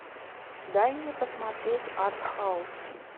дай мне посмотреть артхаус